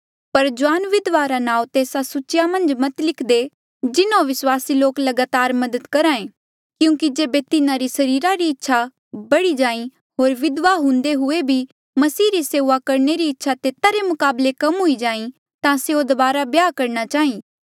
पर जुआन विधवा रे नांऊँ तेस्सा सूची मन्झ मत लिखदे जिन्हों विस्वासी लोक लगातार मदद करहे क्यूंकि जेबे तिन्हारी सरीरा री इच्छा बड़ी जाईं होर विधवा हुंदे हुए भी मसीह री सेऊआ करणे री इच्छा तेता रे मुकाबले कम हुई जाईं ता स्यों दबारा ब्याह करणा चाहीं